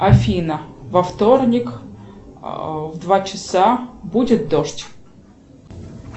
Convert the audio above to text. афина во вторник в два часа будет дождь